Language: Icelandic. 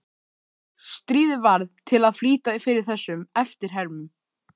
Stríðið varð til að flýta fyrir þessum eftirhermum.